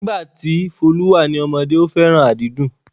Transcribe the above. Nígbà tí Folu wà ní ọmọdé, ó fẹ́ràn àdídùn